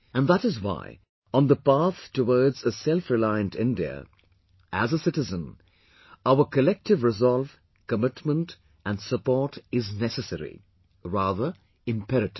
And that is why, on the path towards a selfreliant India, as a citizen, our collective resolve, commitment and support is necessary; rather imperative